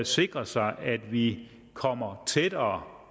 sikrer sig at vi kommer tættere